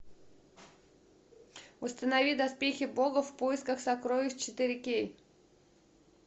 установи доспехи бога в поисках сокровищ четыре кей